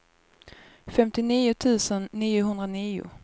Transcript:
femtionio tusen niohundranio